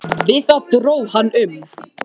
Við það dró hann um.